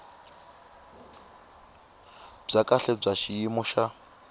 bya kahle bya xiyimo xa